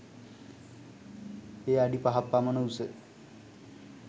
එය අඩි පහක් පමණ උස